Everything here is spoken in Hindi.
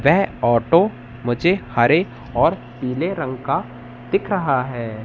वे ऑटो मुझे हरे और पीले रंग का दिख रहा है।